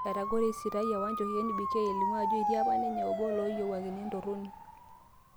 Etagore, eisitayia Wanjohi NBK elimu ajo etii apa ninye obo loyiawakini entoroni.